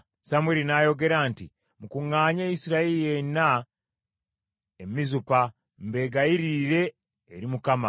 Samwiri n’ayogera nti, “Mukuŋŋaanye Isirayiri yenna e Mizupa, mbegayiririre eri Mukama .”